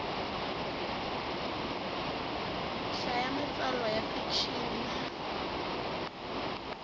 hlaya matsalwa ya fikixini na